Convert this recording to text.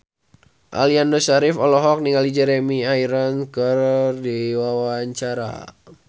Aliando Syarif olohok ningali Jeremy Irons keur diwawancara